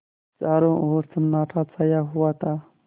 चारों ओर सन्नाटा छाया हुआ था